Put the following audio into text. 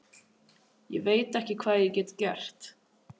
Ég veit ekki hvað ég get gert.